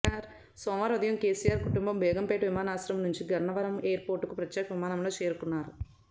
సోమవారం ఉదయం కెసిఆర్ కుటుంబం బేగంపేట విమానాశ్రయం నుంచి గన్నవరం ఎయిర్ పోర్టుకు ప్రత్యేక విమానంలో చేరుకున్నారు